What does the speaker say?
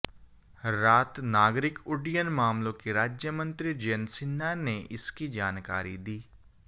रात नागरिक उड्डयन मामलों के राज्य मंत्री जयंत सिन्हा ने इसकी जानकारी दी